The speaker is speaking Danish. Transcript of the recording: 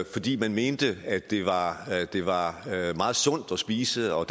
fordi de mente at det var det var meget sundt at spise og